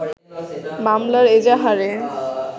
মামলার এজাহারে